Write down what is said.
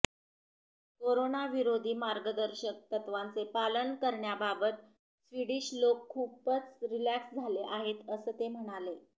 corona विरोधी मार्गदर्शक तत्त्वांचे पालन करण्याबाबत स्वीडिश लोक खूपच रिलॅक्स झाले आहेत असं ते म्हणालेत